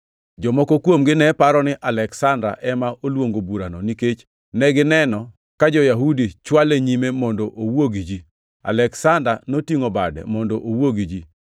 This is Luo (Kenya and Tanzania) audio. Jomoko kuomgi ne paro ni Aleksanda ema oluongo burani nikech negineno ka jo-Yahudi chwale nyime mondo owuo gi ji. Aleksanda notingʼo bade mondo owuo gi ji.